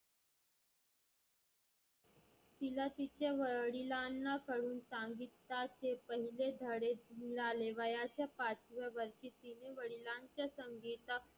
तीला तिच्या वडिलांना कडुन सांगिताचे पहिले धाडे मिळाले. वयाच्या पाचव्या वर्षी तीने वडिलांच्या संगिता